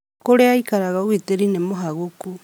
Kũrĩa aĩkaraga ũgĩtĩrĩ nĩ mũhagũkũ